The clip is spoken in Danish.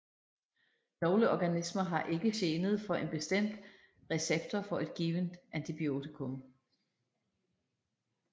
Nogle organismer har ikke genet for en bestemt receptor for et givent antibiotikum